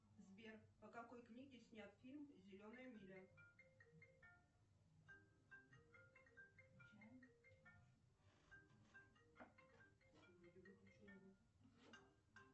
сбер по какой книге снят фильм зеленая миля